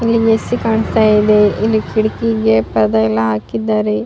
ಇಲ್ಲಿ ನೆಸ್ಸಿ ಕಾಣಿಸ್ತಾ ಇದೆ ಇಲ್ಲಿ ಕಿಟಕಿಗೆ ಕದ ಎಲ್ಲ ಹಾಕಿದ್ದಾರೆ.